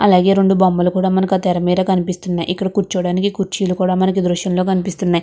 ఆలాగే రెండు బొమ్మలు కూడ మనకు ఆ తెర మీద కనిపిస్తున్నాయి ఇక్కడ కూర్చోడానికి కుర్చీలు కూడ మనకు దృశ్యం లో కనిపిస్తున్నాయి.